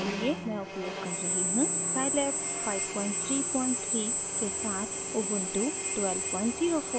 scilab 533 के साथ ubuntu 1204 operating system